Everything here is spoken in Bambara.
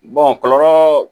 kɔlɔlɔ